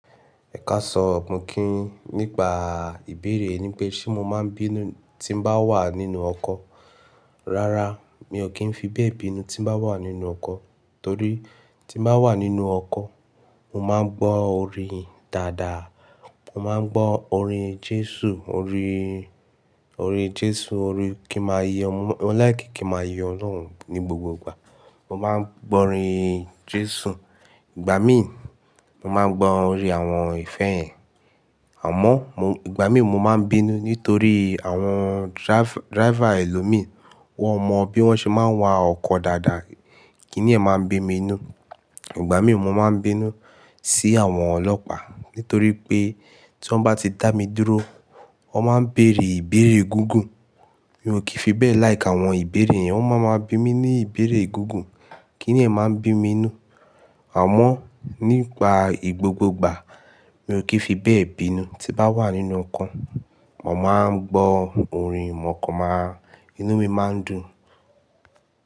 Ẹ̀kàsan mo kí yin nípa ìbéèrè ní pé ṣé mo máa ń bínú tí n bá wà nínú ọkọ̀. Rárá, mi ò kí ń fi bẹ́ẹ̀ bínú tí n bá wà nínú ọkọ̀ torí tí n bá wà nínú ọkọ̀, mo máa ń gbọ́ orin dáadáa. Mo máa ń gbọ́ orin Jésù, orin, orin Jésù, orin kí ma yọ, mo like kí ma yin Ọlọ́run ní gbogbogbà. Mo máa ń gbọ́ orin Jésù, ìgbà míì mo máa ń gbọ́ orin àwọn ìfẹ́ yen. Àmọ́ mo, ìgbà míì mo máa ń bínú nítorí àwọn driver, driver ẹlòmí wọ́n mọ bí wọ́n ṣe máa ń wa ọkọ̀ dáadáa, kí nì ẹ́ máa ń bí mi inú. Ìgbà míì mo máa ń bínú sí àwọn ọlọ́pàá nítorí pé tí wọ́n bá ti dá mi dúró, wọ́n máa ń bèrè ìbéèrè gungùn. Mi ò kí ń fi bẹ́ẹ̀ like àwọn ìbéèrè yẹn, wọ́n máa maa bi mi ní ìbéèrè gungùn. Kí nì ẹ́ máa ń bí mi inú. Àmọ́ nípa ìgbogbogbà mi ò kí ń fi bẹ́ẹ̀ bínú tí bá wà nínú ọkọ̀. Mo máa ń gbọ́ orin, mo kàn máa inú mi máa ń dùn.